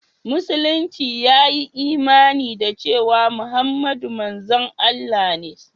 Musulunci ya yi imani da cewa Muhammadu manzon Allah ne.